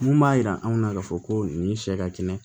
Mun b'a jira anw na k'a fɔ ko nin sɛ ka kɛnɛ